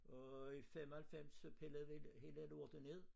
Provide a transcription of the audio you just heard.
Og i 95 så pillede vi hele lortet ned